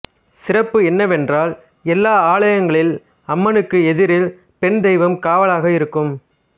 சிறப்பு என்னவென்றால் எல்லா ஆலயங்களில் அம்மனுக்கு எதிரில் பெண் தெய்வம் காவலாக இருக்கும்